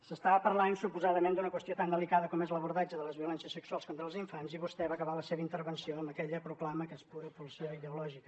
s’estava parlant suposadament d’una qüestió tan delicada com és l’abordatge de les violències sexuals contra els infants i vostè va acabar la seva intervenció amb aquella proclama que és pura pulsió ideològica